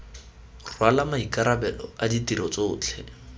rwala maikarabelo a ditiro tsotlhe